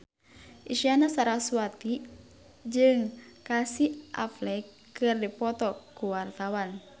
Isyana Sarasvati jeung Casey Affleck keur dipoto ku wartawan